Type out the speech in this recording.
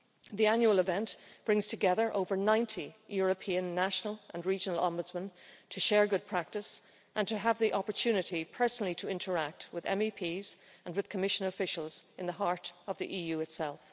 The annual event brings together over 90 European, national and regional ombudsmen to share good practice and to have the opportunity personally to interact with MEPs and with Commission officials at the heart of the EU itself.